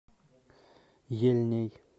ельней